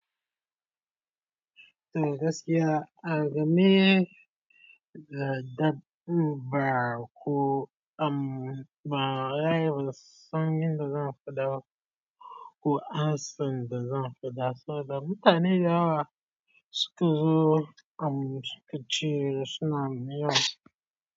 To gaskiya, a game da dabba ko am, ba rayuwar sangan da zan faɗa ko hasan da zan faɗa. Sanda mutane da yawa suka zo am suka cire suna miya.